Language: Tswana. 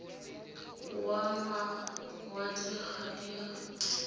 wa mawatle ga di a